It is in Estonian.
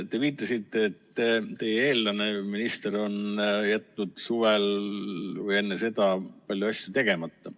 Te viitasite, et eelmine minister on jätnud suvel, või enne seda, palju asju tegemata.